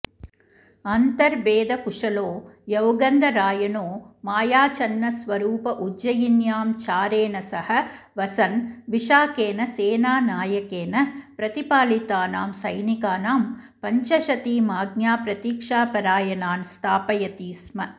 अन्तर्भेदकुशलो यौगन्धरायणो मायाच्छन्नस्वरूप उज्जयिन्यां चारेण सह वसन् विशाखेन सेनानायकेन प्रतिपालितानां सैनिकानां पञ्चशतीमाज्ञाप्रतीक्षापरायणान् स्थापयति स्म